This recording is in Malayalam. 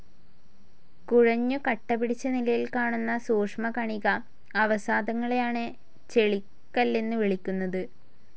കുഴഞ്ഞു കട്ടപിടിച്ച നിലയിൽ കാണുന്ന സൂഷ്മകണിക അവസാദങ്ങളെയാണ് ചെളിക്കല്ലെന്നുവിളിക്കുന്നത്.